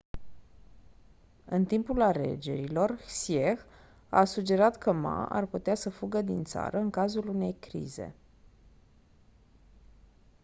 în timpul alegerilor hsieh a sugerat că ma ar putea să fugă din țară în cazul unei crize